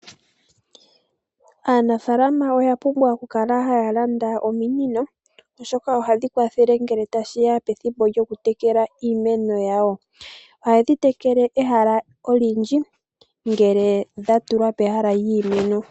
Aanafaalama oya pumbwa okukala haya landa ominino, oshoka ohadhi kwathele ngele tashiya pethimbo lyokutekela iimeno yawo . Ohadhi tekele ehala olindji ngele dhatulwa pehala lyiimeno.